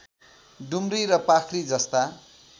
डुम्री र पाख्री जस्ता